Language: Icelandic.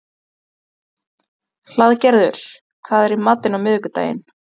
Hlaðgerður, hvað er í matinn á miðvikudaginn?